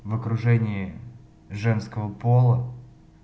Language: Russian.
в окружении женского пола